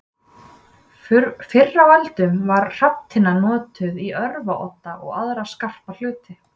Fyrr á öldum var hrafntinna notuð í örvarodda og aðra skarpa hluti.